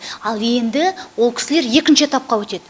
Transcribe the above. ал енді ол кісілер екінші этапқа өтеді